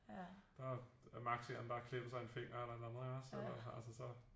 Der er maks en eller anden der har klippet sig i en finger eller et eller andet ikke også altså så